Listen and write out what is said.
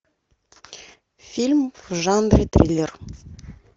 фильм в жанре триллер